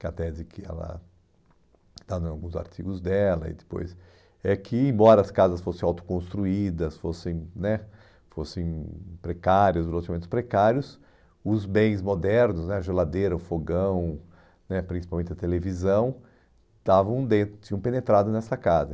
que até diz que ela está em alguns artigos dela, e depois, é que embora as casas fossem autoconstruídas, fossem né fossem precárias, os relacionamentos precários, os bens modernos né, a geladeira, o fogão né, principalmente a televisão, estavam dentro, tinham penetrado nessa casa.